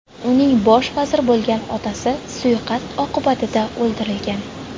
Uning bosh vazir bo‘lgan otasi suiqasd oqibatida o‘ldirilgan.